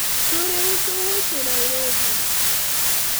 chuore uso wuoche Nairobi